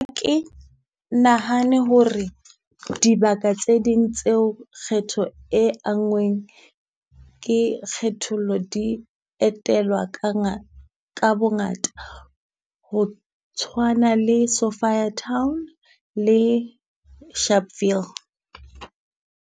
Nahane hore dibaka tse ding tseo kgetho e anngweng ke kgethollo, di etelwa ka ka bongata ho tshwana le Sophiatown le Sharpeville.